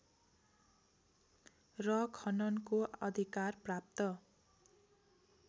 र खननको अधिकार प्राप्त